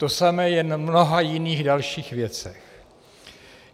To samé je v mnoha jiných dalších věcech.